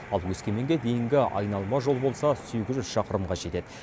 ал өскеменге дейінгі айналма жол болса сегіз жүз шақырымға жетеді